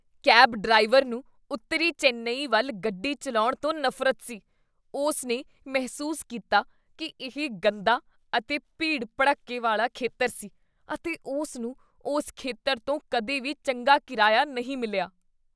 cab driver ਨੂੰ ਉੱਤਰੀ ਚੇਨੱਈ ਵੱਲ ਗੱਡੀ ਚੱਲਾਉਣ ਤੋਂ ਨਫ਼ਰਤ ਸੀ ਉਸ ਨੇ ਮਹਿਸੂਸ ਕੀਤਾ ਕੀ ਇਹ ਗੰਦਾ ਅਤੇ ਭੀੜ ਭੜੱਕੇ ਵਾਲਾਂ ਖੇਤਰ ਸੀ, ਅਤੇ ਉਸ ਨੂੰ ਉਸ ਖੇਤਰ ਤੋਂ ਕਦੇ ਵੀ ਚੰਗਾ ਕਿਰਾਇਆ ਨਹੀਂ ਮਿਲਿਆ